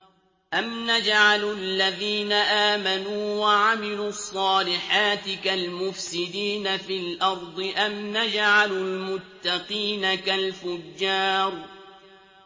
أَمْ نَجْعَلُ الَّذِينَ آمَنُوا وَعَمِلُوا الصَّالِحَاتِ كَالْمُفْسِدِينَ فِي الْأَرْضِ أَمْ نَجْعَلُ الْمُتَّقِينَ كَالْفُجَّارِ